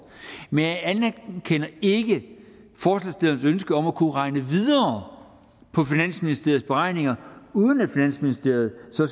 men jeg anerkender ikke forslagsstillernes ønske om at kunne regne videre på finansministeriets beregninger uden at finansministeriet så